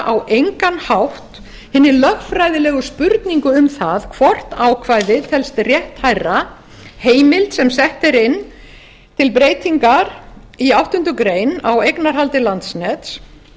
á engan hátt hinni lögfræðilegu spurningu um það hvort ákvæðið telst rétthærra heimild sem sett er inn til breytingar í áttundu grein á eignarhaldi landsnets